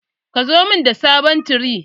Ka zo mun da sabon tire.